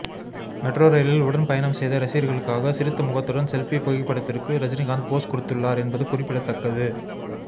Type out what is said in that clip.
metro ரயிலில் உடன் பயணம் செய்த ரசிகரளுக்காக சிரித்த முகத்துடன் செல்பி புகைப்படத்திற்கு ரஜினிகாந்த் போஸ் கொடுத்துள்ளார் என்பது குறிப்பிடத்தக்கது